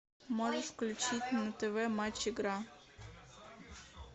можешь включить на тв матч игра